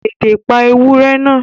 Tètè pa ewúrẹ́ náà!